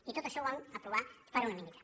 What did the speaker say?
i tot això ho vam aprovar per unanimitat